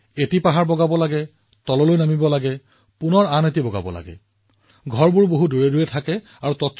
এখন পৰ্বতলৈ যাওক তাৰ পিছত নামি যাওক তাৰ পিছত আন এখন পৰ্বতলৈ যাওক আনকি ঘৰবোৰো দূৰে দূৰে তথাপিও আপুনি ইমান ভাল কাম কৰিছে